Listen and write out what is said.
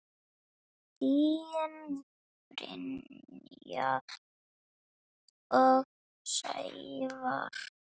Þín Brynja og Sævar.